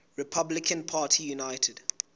republican party united